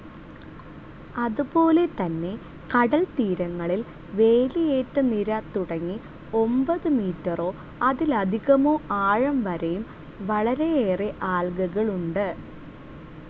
അതുപോലെതന്നെ കടൽത്തീരങ്ങളിൽ വേലിയേറ്റനിര തുടങ്ങി ഒമ്പതു മീറ്റേർസ്‌ അതിലധികമോ ആഴം വരെയും വളരെയേറെ ആൽഗകളുണ്ട്.